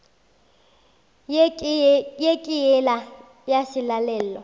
ye ke yela ya selalelo